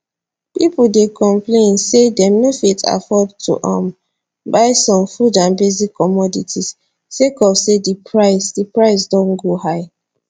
pipo dey complain say dem no fit afford to um buy some food and basic commodities sake of say di price di price don go high